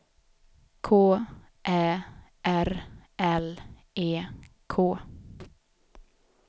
K Ä R L E K